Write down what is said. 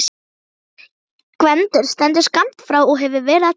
Gvendur stendur skammt frá og hefur verið að tala.